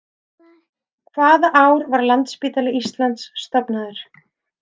Hvaða ár var Landspítali Íslands stofnaður?